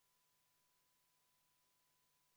V a h e a e g Austatud Riigikogu, palun tähelepanu!